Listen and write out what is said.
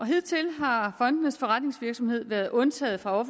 hidtil har fondenes forretningsvirksomhed været undtaget fra